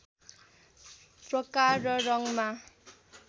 प्रकार र रङमा